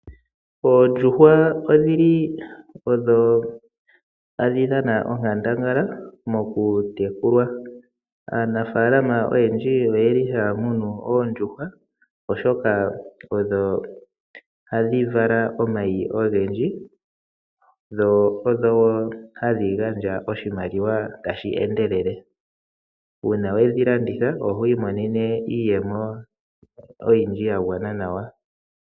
Oondjuhwa odho tadhi dhan aonkandangala mokutekulwa. Aanafaalama oyendji ohaya munu oondjuhwa, oshoka odho hadhi vala omayi ogendji, dho ohadhi gandja oshimaliwa tashi endelele. Uuna we dhi landitha oho imonene mo iiyemo oyindji ya gwana nawa.